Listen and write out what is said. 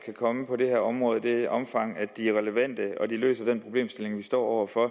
komme på det her område i det omfang de er relevante og løser den problemstilling vi står over for